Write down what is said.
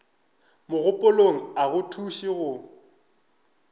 mogopolong a go thuše go